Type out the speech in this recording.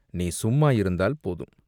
நீ சும்மா இருந்தால் போதும்!